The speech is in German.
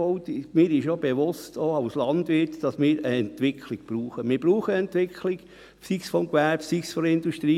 Auch als Landwirt ist mir bewusst, dass wir eine Entwicklung brauchen, sei es beim Gewerbe oder bei der Industrie.